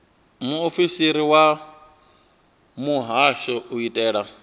muofisiri wa muhasho u itela